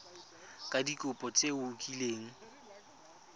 ka dikopo tse o kileng